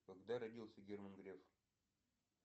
когда родился герман греф